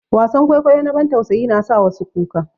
Wasan kwaikwayo na bantausayi na sa wasu kuka.